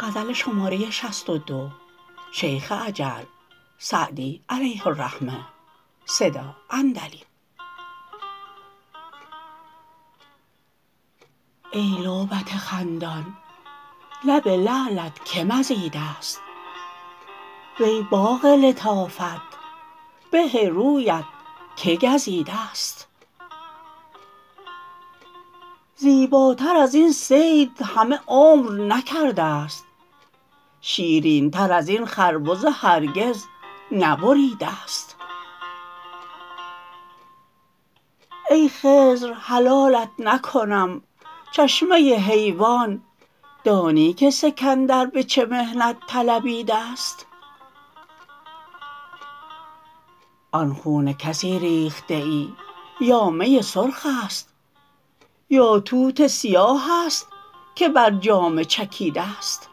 ای لعبت خندان لب لعلت که مزیده ست وی باغ لطافت به رویت که گزیده ست زیباتر از این صید همه عمر نکرده ست شیرین تر از این خربزه هرگز نبریده ست ای خضر حلالت نکنم چشمه حیوان دانی که سکندر به چه محنت طلبیده ست آن خون کسی ریخته ای یا می سرخ است یا توت سیاه است که بر جامه چکیده ست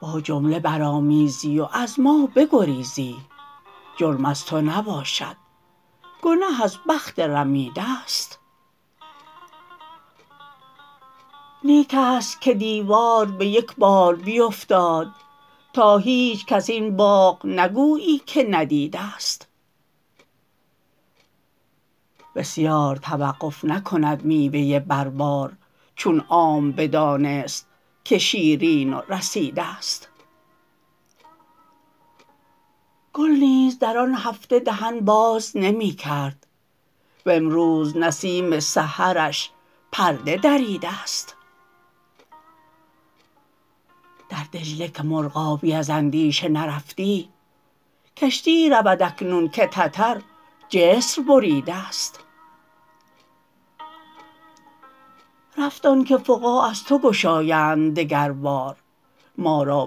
با جمله برآمیزی و از ما بگریزی جرم از تو نباشد گنه از بخت رمیده ست نیک است که دیوار به یک بار بیفتاد تا هیچکس این باغ نگویی که ندیده ست بسیار توقف نکند میوه بر بار چون عام بدانست که شیرین و رسیده ست گل نیز در آن هفته دهن باز نمی کرد وامروز نسیم سحرش پرده دریده ست در دجله که مرغابی از اندیشه نرفتی کشتی رود اکنون که تتر جسر بریده ست رفت آن که فقاع از تو گشایند دگر بار ما را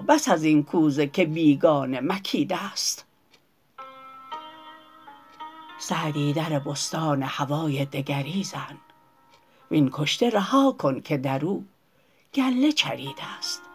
بس از این کوزه که بیگانه مکیده ست سعدی در بستان هوای دگری زن وین کشته رها کن که در او گله چریده ست